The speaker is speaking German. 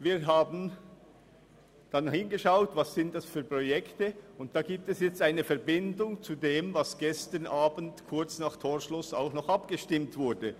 Wir haben dann geschaut, welche Projekte dies sind, und da besteht eine Verbindung zu dem, worüber gestern Abend kurz vor Torschluss auch noch abgestimmt wurde.